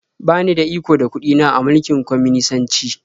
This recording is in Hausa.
Ba ni da iko da kuɗi na a mulkin kwaminisanci.